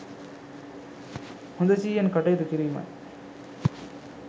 හොඳ සිහියෙන් කටයුතු කිරීමයි.